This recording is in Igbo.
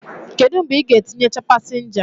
Kedu mgbe ị ga-etinyecha pasenja?